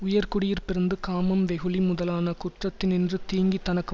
உயர்குடியிற் பிறந்து காமம் வெகுளி முதலான குற்றித்தினின்று தீங்கி தனக்கு